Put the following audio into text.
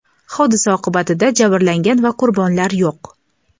hodisa oqibatida jabrlangan va qurbonlar yo‘q.